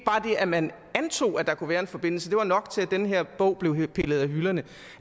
at man antog at der kunne være en forbindelse var nok til at den her bog blev pillet af hylderne